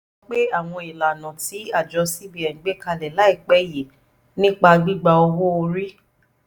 ó sọ pé àwọn ìlànà tí àjọ cbn gbé kalẹ̀ láìpẹ́ yìí nípa gbígba owó orí